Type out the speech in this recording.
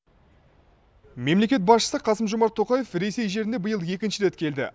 мемлекет басшысы қасым жомарт тоқаев ресей жеріне биыл екінші рет келді